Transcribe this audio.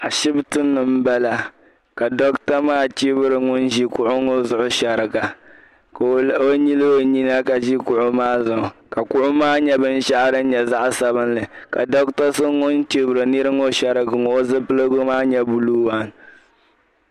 Ashibti ni m bala ka dɔɣite maa chɛbiri ŋuni ʒi kuɣi ŋɔ zuɣu shɛriga ka o yilli o nyina ka ʒi kuɣi maa zuɣu kuɣi maa nyɛ binshɛɣu din nyɛ zaɣ'sabinli ka dɔɣite so ŋuni chɛbiri nira ŋɔ shɛriga ŋɔ zupiligu maa nyɛ buluu.